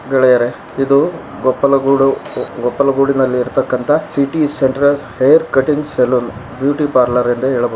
ಗೆಳೆಯರೇ ಇದು ಗೊಪ್ಪಲಗೂಡು ಗೊಪ್ಪಲಗೂಡಿನಲ್ಲಿ ಇರತಕ್ಕಂತಹ city centre hair cuttings salon beauty parlour ಎಂದು ಹೇಳಬಹುದು.